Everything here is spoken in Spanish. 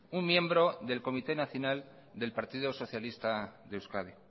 un miembro del comité nacional del partido socialista de euskadi